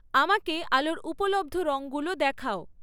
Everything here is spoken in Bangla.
আমাকে আলোর উপলব্ধ রংগুলো দেখাও